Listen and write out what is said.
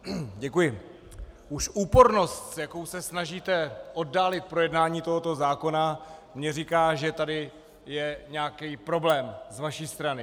Už úpornost, s jakou se snažíte oddálit projednání tohoto zákona, mně říká, že tady je nějaký problém z vaší strany.